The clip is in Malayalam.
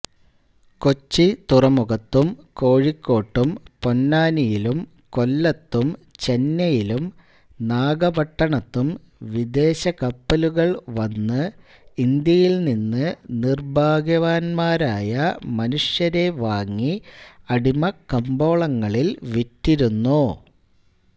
കൊച്ചി തുറമുഖത്തും കോഴിക്കോട്ടും പൊന്നാനിയിലും കൊല്ലത്തും ചെന്നൈയിലും നാഗപട്ടണത്തും വിദേശക്കപ്പലുകൾ വന്ന് ഇന്ത്യയിൽനിന്ന് നിർഭാഗ്യവാൻമാരായ മനുഷ്യരെ വാങ്ങി അടിമക്കമ്പോളങ്ങളിൽ വിറ്റിരുന്നു